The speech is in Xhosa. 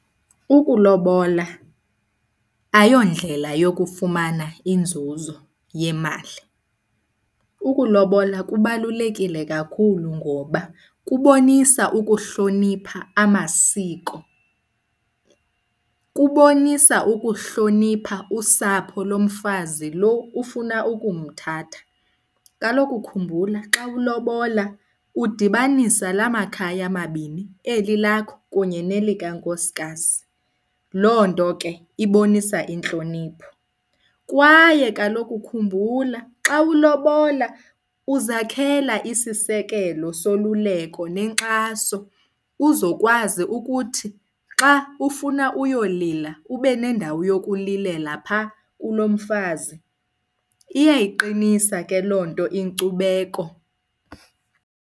Ukulobola ayondlela yokufumana inzuzo yemali. Ukulobola kubalulekile kakhulu ngoba kubonisa ukuhlonipha amasiko, kubonisa ukuhlonipha usapho lomfazi loo ufuna ukumthatha. Kaloku khumbula xa ulobola udibanisa la makhaya mabini, eli lakho kunye nelikankosikazi. Loo nto ke ibonisa intlonipho. Kwaye kaloku khumbula xa ulobola uzakhela isisekelo soluleko nenkxaso uzokwazi ukuthi xa ufuna uyolila ube nendawo yokulilela phaa kulomfazi. Iyayiqinisa ke loo nto inkcubeko.